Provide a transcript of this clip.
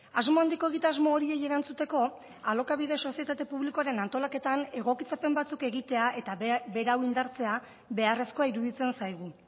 asmo handiko egitasmo horiei erantzuteko alokabide sozietate publikoaren antolaketan egokitzapen batzuk egitea eta berau indartzea beharrezkoa iruditzen zaigu